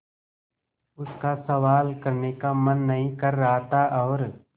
उसका सवाल करने का मन नहीं कर रहा था और